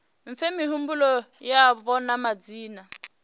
fhe mihumbulo yavho na madzina